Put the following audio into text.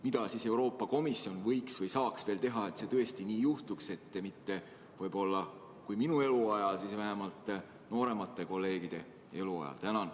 Mida Euroopa Komisjon võiks või saaks veel teha, et see tõesti nii juhtuks, võib-olla küll mitte minu eluajal, aga vähemalt nooremate kolleegide eluajal?